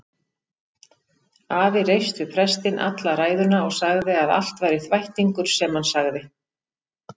Afi reifst við prestinn alla ræðuna og sagði að allt væri þvættingur sem hann sagði.